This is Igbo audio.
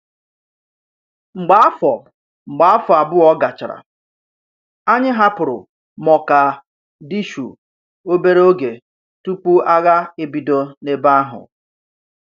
Mgbe áfọ́ Mgbe áfọ́ àbùọ̀ gáchàrà, ányị̀ hàpụ̀rù Mógàdìshù oberè ògè túpù àghà ébídò n’èbé àhụ́.